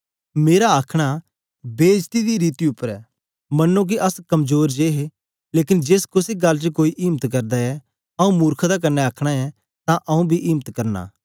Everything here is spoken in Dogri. मेरा आखन बेईजती दी रीति उपर ऐ मन्नो के अस कमजोर जे हे लेकन जेस कुसे गल्ल च कोई इम्त करदा ऐ आंऊँ मुर्खता कन्ने आखन ऐं तां आंऊँ बी इम्त करना